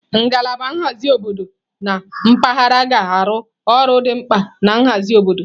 Ngalaba nhazi obodo na mpaghara ga-arụ ọrụ dị mkpa na nhazi obodo.